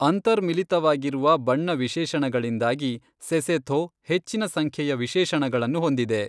ಅಂತರ್ಮಿಲಿತವಾಗಿರುವ ಬಣ್ಣ ವಿಶೇಷಣಗಳಿಂದಾಗಿ ಸೆಸೊಥೋ ಹೆಚ್ಚಿನ ಸಂಖ್ಯೆಯ ವಿಶೇಷಣಗಳನ್ನು ಹೊಂದಿದೆ.